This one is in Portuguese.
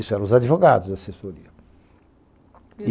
Isso eram os advogados da assessoria.